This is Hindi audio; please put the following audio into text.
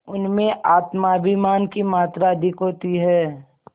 उनमें आत्माभिमान की मात्रा अधिक होती है